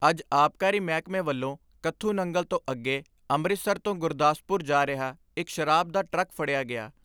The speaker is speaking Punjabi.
ਅੱਜ ਆਬਕਾਰੀ ਮਹਿਕਮੇ ਵੱਲੋਂ ਕੱਥੂ ਨੰਗਲ ਤੋਂ ਅੱਗੇ ਅੰਮ੍ਰਿਤਸਰ ਤੋਂ ਗੁਰਦਾਸਪੁਰ ਜਾ ਰਿਹਾ ਇਕ ਸ਼ਰਾਬ ਦਾ ਟਰੱਕ ਫੜਿਆ ਗਿਆ।